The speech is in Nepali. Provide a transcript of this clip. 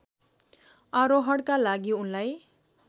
आरोहणका लागि उनलाई